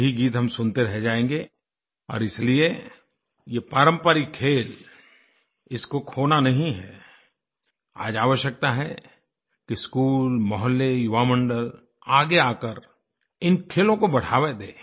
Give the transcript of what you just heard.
यही गीत हम सुनते रह जाएँगे और इसीलिए यह पारंपरिक खेल इसको खोना नहीं हैआज आवश्यकता है कि स्कूल मौहल्लेयुवामंडल आगे आकर इन खेलों को बढ़ावा दें